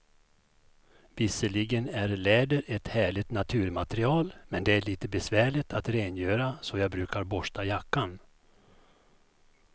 Visserligen är läder ett härligt naturmaterial, men det är lite besvärligt att rengöra, så jag brukar borsta jackan.